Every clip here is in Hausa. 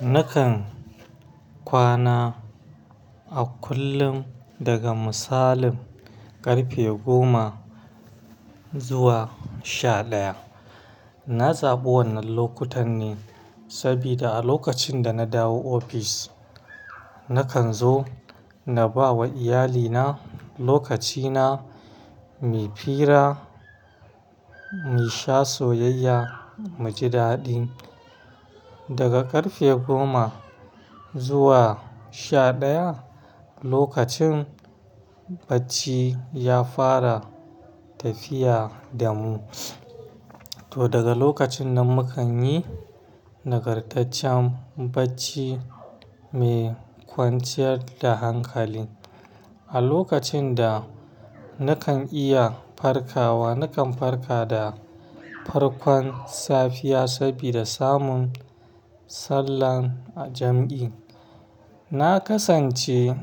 Nakan kwana a kullum daga misalin ƙarfe goma zuwa sha ɗaya. Na zaɓi wannan lokutan ne saboda a lokacin da na dawo ofis, nakan zo na ba wa iyalina lokacina, mu fira, mu sha soyayya, mu ji daɗi. Daga ƙarfe goma zuwa sha ɗaya, lokacin bacci ya fara tafiya da mu. To daga lokacin nan mu kan yi nagartaccen bacci mai kwanciyar da hankali. A lokacin da nakan iya farkawa, nakan farka da farkon safiya saboda samun sallar jam'i. Na ƙasance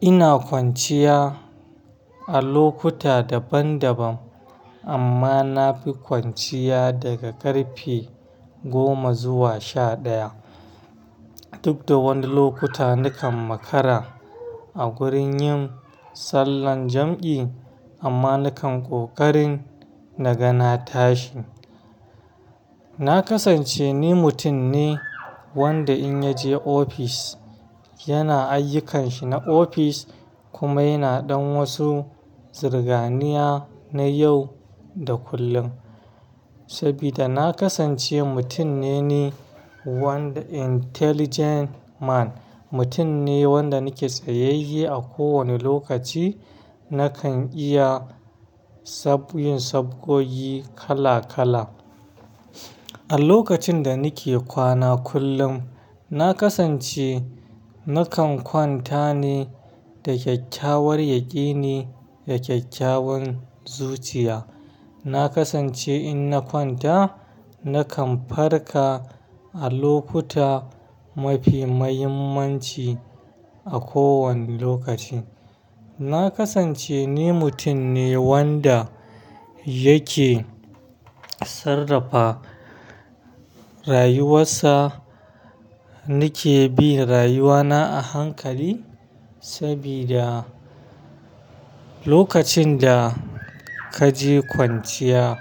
ina kwanciya a lokuta daban-daban amma na fi kwanciya daga ƙarfe goma zuwa sha ɗaya. Duk da wani lokuta nakan makara a gurin yin sallar jam'i amma nakan ƙoƙarin na gana tashi. Na ƙasance ni mutum ne wanda in ya je ofis yana ayyukanshi na ofis kuma yana ɗon wasu zirganiya na yau da kullum. Saboda na ƙasance mutum ne ni wanda intelligent man, mutum ne wanda nake tsayayye a kowane lokaci. Nakan iya yin sabkoyi kala kala. A lokacin da nake kwana kullum, na ƙasance nakan kwanta ne da kyakkyawar yaƙini da kyakkyawan zuciya. Na ƙasance in na kwanta nakan farka a lokuta mafi muhimmanci a kowane lokaci. Na ƙasance ni mutum ne wanda yake sarrafa rayuwarsa. Ni ke bin rayuwana a hankali saboda lokacin da ka je kwanciya,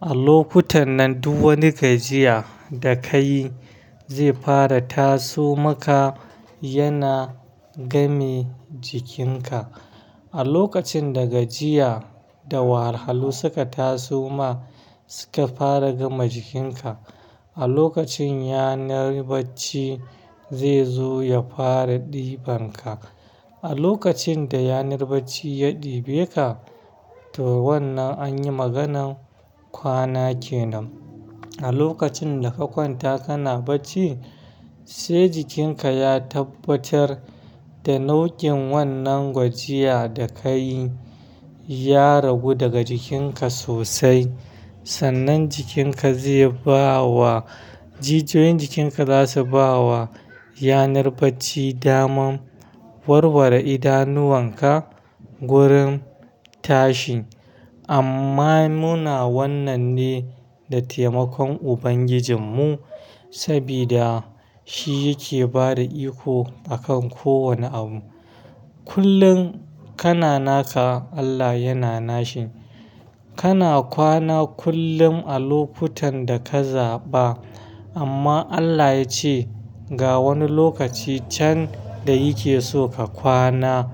a lokutan nan duk wani gajiya da ka yi zai fara taso maka, yana game jikinka. A lokacin da gajiya da wahalu suka taso ma, suka fara game jikinka, a lokacin yanar bacci zai zo ya fara ɗiban ka. A lokacin da yanar bacci ya ɗibe ka, to wannan an yi maganar kwana ke nan. A lokacin da ka kwanta kana bacci, sai jikinka ya tabbatar da nau'in wannan gajiya da ka yi ya ragu daga jikinka sosai. Sannan jikinka zai ba wa-- jijiyoyin jikinka za su ba wa yanar bacci damar warware idanuwanka wurin tashi. Amma muna wannan ne da taimakon Ubangijinmu saboda shi yake ba da iko a kan kowane abu. Kullum kana naka Allah yana nashin. Kana kwana kullum a lokutan da ka zaɓa amma Allah ya ce ga wani lokaci can da yake so ka kwana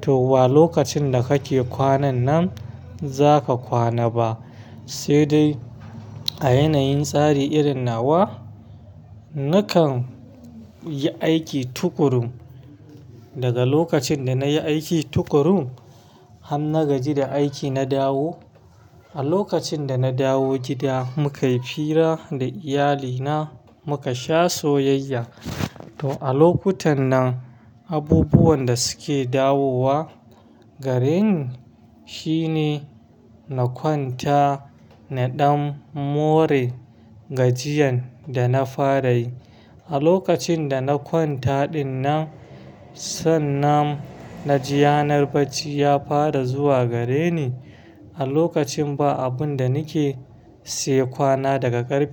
to wa lokacin da kake kwanan nan zaka kwana ba. Sai dai a yanayin tsari irin nawa, nakan yi aiki tuƙuru. Daga lokacin da na yi aiki tuƙuru har na gaji da aiki na dawo, a lokacin da na dawo gida mukai fira da iyalina, muka sha soyayya. To a lokutan nan abubuwan da suke dawowa gareni shine na kwanta na ɗan more gajiyan da na fara yi. A lokacin da na kwanta ɗin nan, sannan na ji yanar bacci ya fara zuwa gareni. A lokacin ba abun da nake sai kwana daga ƙarfe-